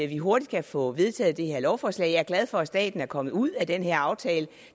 vi hurtigt kan få vedtaget det her lovforslag jeg er glad for at staten er kommet ud af den her aftale